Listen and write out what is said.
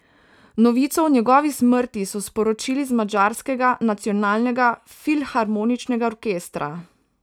Novico o njegovi smrti so sporočili iz Madžarskega nacionalnega filharmoničnega orkestra.